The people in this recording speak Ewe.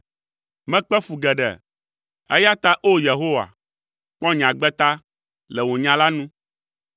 Mekpe fu geɖe, eya ta o Yehowa, kpɔ nye agbe ta, le wò nya la nu.